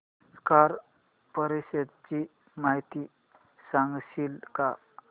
SAARC परिषदेची माहिती सांगशील का